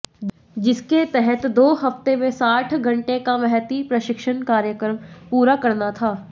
जिसके तहत दो हफ्ते में साठ घंटे का महती प्रशिक्षण कार्यक्रम पूरा करना था